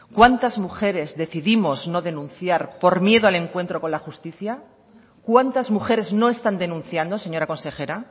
cuántas mujeres decidimos no denunciar por miedo al encuentro con la justicia cuántas mujeres no están denunciando señora consejera